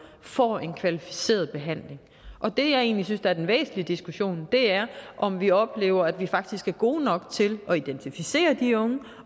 får en kvalificeret behandling og det jeg egentlig synes er den væsentlige diskussion er om vi oplever at vi faktisk er gode nok til at identificere de unge